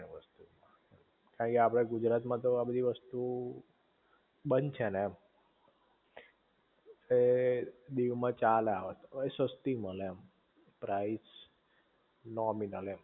ઐ આપડા ગુજરાત માં તો આ બધી વસ્તુ બંધ છે ને એમ દીવ માં ચાલે આ વસ્તુ વલી સસ્તી મલે એમ પ્રાઇસ નૉમિનલ